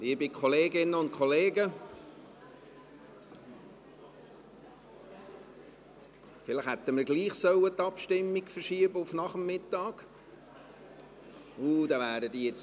Liebe Kolleginnen und Kollegen, vielleicht hätten wir die Abstimmung gleichwohl auf den Nachmittag verschieben sollen.